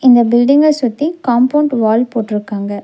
இந்த பில்டிங்க சுத்தி காம்பௌண்ட் வால் போட்ருக்காங்க.